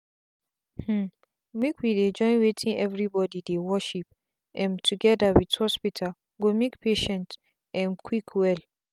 hmmmmake we dey join wetin everybody dey worship um together with hospital go make patient um quick well.